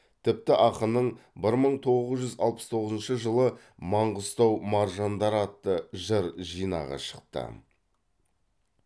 тіпті ақынның бір мың тоғыз жүз алпыс тоғызыншы жылы маңғыстау маржандары атты жыр жинағы шықты